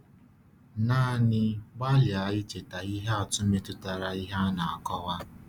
Naanị gbalịa icheta ihe atụ metụtara ihe a na-akọwa.